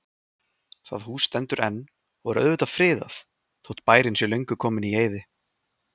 Það hús stendur enn og er auðvitað friðað, þótt bærinn sé löngu kominn í eyði.